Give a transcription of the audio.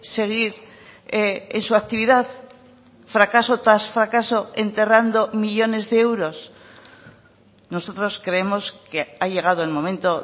seguir en su actividad fracaso tras fracaso enterrando millónes de euros nosotros creemos que ha llegado el momento